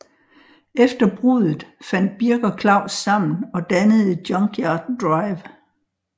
Efter bruddet fandt Birk og Claus sammen og dannede Junkyard Drive